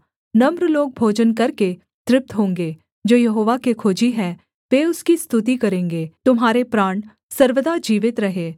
नम्र लोग भोजन करके तृप्त होंगे जो यहोवा के खोजी हैं वे उसकी स्तुति करेंगे तुम्हारे प्राण सर्वदा जीवित रहें